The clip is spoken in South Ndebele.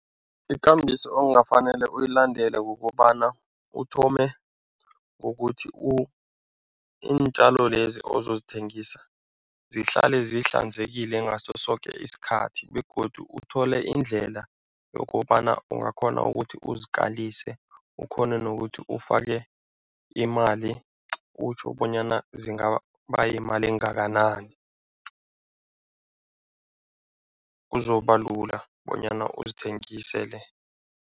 Ikambiso ongafanele uyilandele kukobana uthome ngokuthi iintjalo lezi ozozithengisa zihlale zihlanzekile ngaso soke isikhathi begodu uthole indlela yokobana ungakghona ukuthi uzikalise, ukghone nokuthi ufake imali utjho bonyana zingaba yimali engakanani, kuzobalula bonyana uzithengisele.